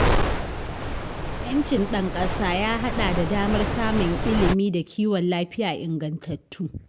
‘Yancin ɗan ƙasa ya haɗa da damar samun ilimi da kiwon lafiya ingantattu.